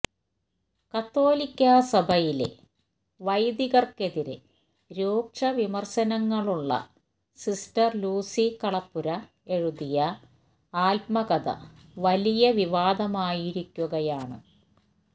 കത്തോലിക്കാ സഭയിലെ വൈദികർക്കെതിരെ രൂക്ഷവിമർശനങ്ങളുള്ള സിസ്റ്റർ ലൂസി കളപ്പുര എഴുതിയ ആത്മകഥ വലിയ വിവാദമായിരിക്കുകയാണ്